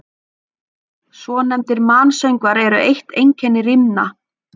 Svonefndir mansöngvar eru eitt einkenni rímna.